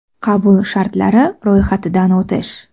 Qabul shartlari: ro‘yxatidan o‘tish.